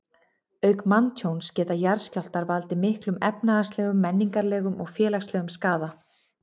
Auk manntjóns geta jarðskjálftar valdið miklum efnahagslegum, menningarlegum og félagslegum skaða.